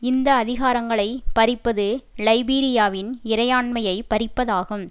இந்த அதிகாரங்களை பறிப்பது லைபீரியாவின் இறையாண்மையை பறிப்பதாகும்